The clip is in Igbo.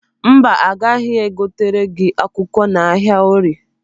Mba, agaghị egotere gị akwụkwọ n'ahịa orie.